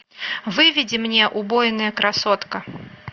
выведи мне убойная красотка